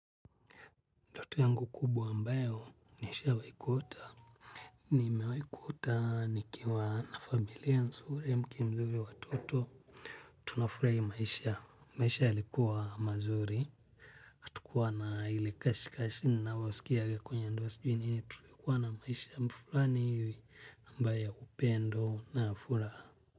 Ndoto yangu kubwa ambayo nishawahi kuota. Nimewahi kuota nikiwa na familia nzuri, mke mzuri, na watoto. Tunafurahia maisha. Maisha yalikuwa mazuri. Hatukuwa na ile kasheshe ninaosikia kwenye ndoa sijuinini. Tulikuwa na maisha fulani ambayo ya upendo na furaha.